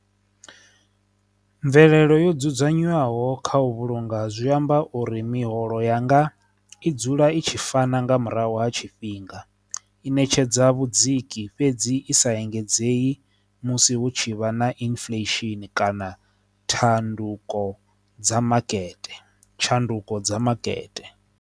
Mvelelo yo dzudzanywaho kha u vhulunga zwi amba uri miholo yanga i dzula i tshi fana nga murahu ha tshifhinga i ṋetshedza vhudziki fhedzi i sa engedza heyi musi hu tshi vha na inifulesheni kana thanduko dza makete, tshanduko dza makete.